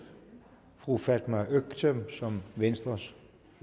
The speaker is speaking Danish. fru fatma øktem som venstres